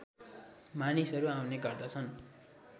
मानिसहरू आउने गर्दछन्